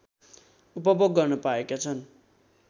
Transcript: उपभोग गर्न पाएका छन्